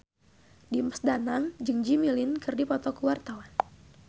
Dimas Danang jeung Jimmy Lin keur dipoto ku wartawan